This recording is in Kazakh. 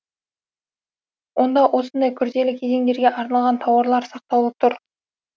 онда осындай күрделі кезеңдерге арналған тауарлар сақтаулы тұр